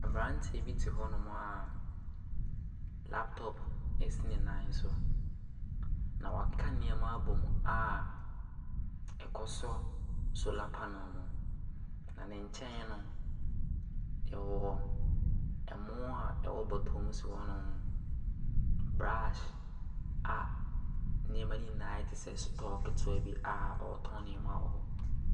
Abranteɛ bi te hɔnom a laptop esi ne nan so. Na wɔaka nneɛma abom a ɛkɔsɛ solar pannel no. Na ne nkyɛn no, ɔwɔ ɛmo a ɛwɔ bɔtɔ mu si hɔnom. Brush a nneɛma no nyinaa ayɛ te sɛ store ketewa bi a ɔretɔn nneɛma wɔ hɔ.